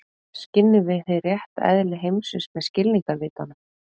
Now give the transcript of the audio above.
Skynjum við hið rétta eðli heimsins með skilningarvitunum?